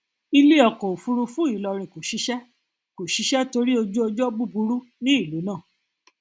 ilé ọkọ òfúrufú ilorin kò ṣiṣẹ kò ṣiṣẹ torí ojúọjọ búburú ní ìlú náà